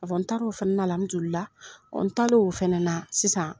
An taara o fana na n talen o fana na sisan